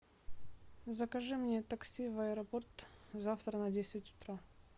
закажи мне такси в аэропорт завтра на десять утра